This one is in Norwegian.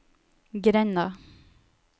grenda